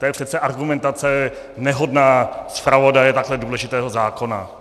To je přece argumentace nehodná zpravodaje takhle důležitého zákona.